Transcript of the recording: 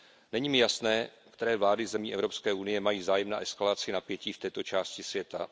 Není mi jasné, které vlády zemí Evropské unie mají zájem na eskalaci napětí v této části světa.